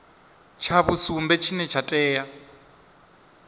tsha vhusumbe tshine tsha tea